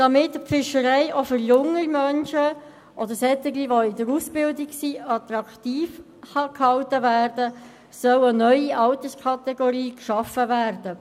Damit die Fischerei auch für junge Menschen oder für jene in Ausbildung attraktiv gehalten werden kann, soll eine neue Alterskategorie geschaffen werden.